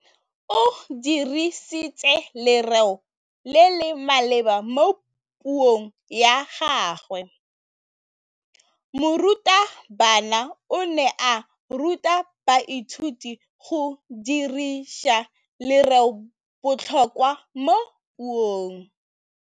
O dirisitse lerêo le le maleba mo puông ya gagwe. Morutabana o ne a ruta baithuti go dirisa lêrêôbotlhôkwa mo puong.